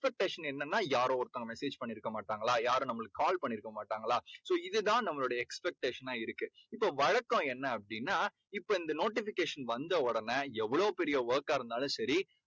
expectation என்னன்னா யாரோ ஒருத்தங்க message பண்ணிருக்க மாட்டாங்களா? யாரும் நம்மளுக்கு call பண்ணிருக்க மாட்டாங்களா? so இது தான் நம்மளுடைய expectation னா இருக்கு. இப்போ வழக்கம் என்ன அப்படீன்னா இப்போ இந்த notification வந்த உடனே எவ்வளோ பெரிய work கா இருந்தாலும் சரி